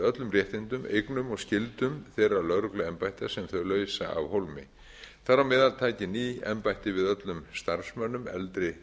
öllum réttindum eignum og skyldum þeirra lögregluembætta sem þau leysa af hólmi þar með taki ný embætti við öllum starfsmönnum eldri